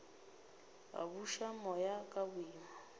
a buša moya ka boima